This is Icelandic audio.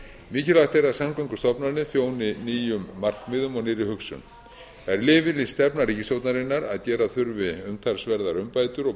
mikilvægt er að samgöngustofnanir þjóni nýjum markmiðum og nýrri hugsun það er yfirlýst stefna ríkisstjórnarinnar að gera þurfi umtalsverðar umbætur og